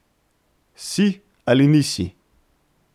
Si ali nisi!